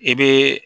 I bɛ